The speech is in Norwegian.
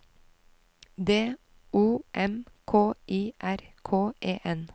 D O M K I R K E N